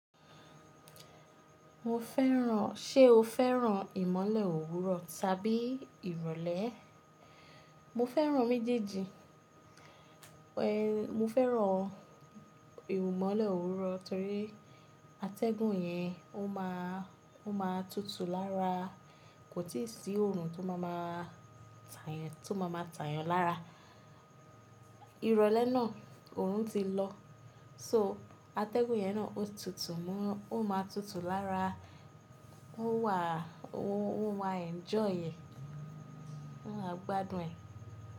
Mo fẹ́ràn-- ṣe o fẹ́ràn ìmọ́lẹ̀ òwúrọ̀ tàbí ìrọ̀lẹ́? Mo fẹ́ràn méjèèjì. Ehn, mo fẹ́ràn ìmọ́lẹ̀ òwúrọ̀ torí atẹ́gùn yẹn ó máa, ó máa tutù lára, kò tí ì sí òórùn tó máa ma tàyàn, tó máa ma tàyàn lára. Ìrọ̀lẹ́ náà òórùn ti lọ. So atẹ́gùn yẹn náà ó tutù mọ́, ó máa tutù lára ó wà, ó wa enjoy ẹ, gbádùn ẹ̀